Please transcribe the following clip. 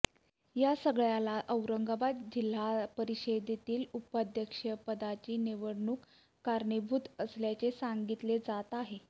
या सगळ्याला औरंगाबाद जिल्हा परिषदेतील उपाध्यक्षपदाची निवडणूक कारणीभूत असल्याचे सांगितले जात आहे